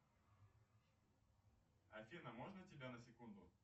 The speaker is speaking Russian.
афина можно тебя на секунду